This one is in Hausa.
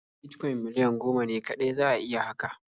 Bitcoin miliyan goma ne kaɗai za'a iya haƙa.